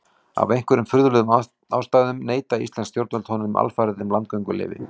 Af einhverjum furðulegum ástæðum neita íslensk stjórnvöld honum alfarið um landgönguleyfi.